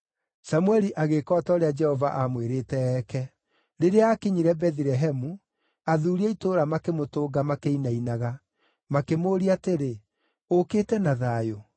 Samũeli agĩĩka o ta ũrĩa Jehova aamwĩrĩte eeke. Rĩrĩa aakinyire Bethilehemu, athuuri a itũũra makĩmũtũnga makĩinainaga. Makĩmũũria atĩrĩ, “Ũũkĩte na thayũ?”